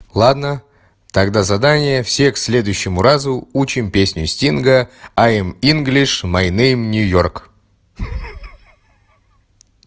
ладно тогда задание все к следующему разу учим песню стинга ай инглиш май нэйм нью-йорк